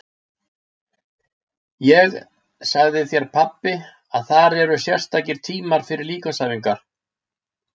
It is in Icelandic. Ég sagði þér pabbi að þar eru sérstakir tímar fyrir líkamsæfingar.